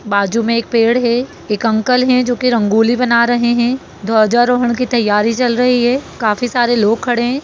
बाजू में एक पेड़ है एक अंकल है जो की रंगोली बना रहे है। ध्वज रोहन की तयारी चल रही है काफी सारे लोग खड़े है।